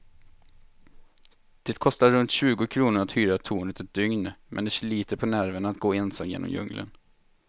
Det kostar runt tjugo kronor att hyra tornet ett dygn, men det sliter på nerverna att gå ensam genom djungeln.